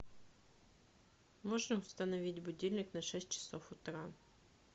можно установить будильник на шесть часов утра